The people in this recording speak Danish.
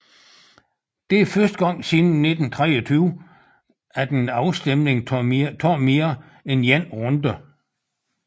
Det er første gang siden 1923 at en afstemning tager mere end 1 runde